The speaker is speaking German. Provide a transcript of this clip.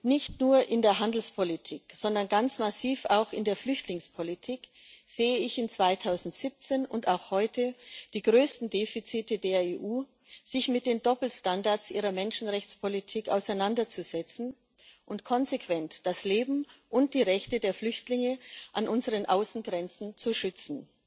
Nicht nur in der Handelspolitik, sondern ganz massiv auch in der Flüchtlingspolitik sehe ich im Jahr 2017 und auch heute die größten Defizite der EU, sich mit den Doppelstandards ihrer Menschenrechtspolitik auseinanderzusetzen und konsequent das Leben und die Rechte der Flüchtlinge an unseren Außengrenzen zu schützen.